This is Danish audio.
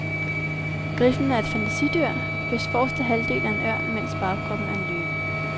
Griffen er et fantasidyr, hvis forreste halvdel er en ørn, mens bagkroppen er en løve.